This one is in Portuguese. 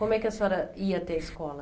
Como é que a senhora ia até a escola?